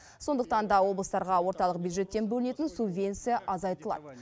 сондықтан да облыстарға орталық бюджеттен бөлінетін субвенция азайтылады